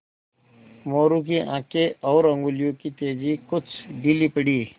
मोरू की आँखें और उंगलियों की तेज़ी कुछ ढीली पड़ी